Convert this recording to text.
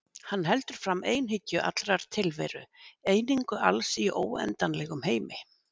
Hann heldur fram einhyggju allrar tilveru, einingu alls í óendanlegum heimi.